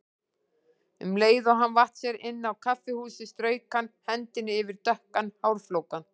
Um leið og hann vatt sér inn á kaffihúsið strauk hann hendinni yfir dökkan hárflókann.